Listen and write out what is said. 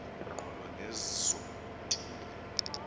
ngqolo nezo ntili